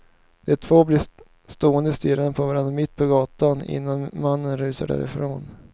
De två blir stående stirrandes på varandra mitt på gatan innan mannen rusar därifrån.